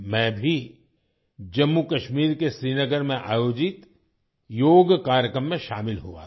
मैं भी जम्मू कश्मीर के श्रीनगर में आयोजित योग कार्यक्रम में शामिल हुआ था